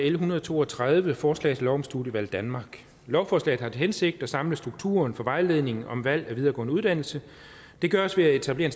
en hundrede og to og tredive forslag til lov om studievalg danmark lovforslaget har til hensigt at samle strukturen for vejledning om valg af videregående uddannelse det gøres ved at etablere